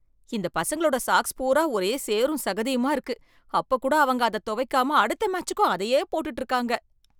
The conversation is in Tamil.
இந்த பசங்களோட சாக்ஸ் பூரா ஒரே சேரும் சகதியுமா இருக்கு, அப்பக் கூட அவங்க அதத் தொவைக்காம அடுத்த மேட்சுக்கும் அதையே போட்டுட்டு இருக்காங்க.